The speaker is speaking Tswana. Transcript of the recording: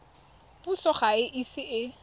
puso ga e ise e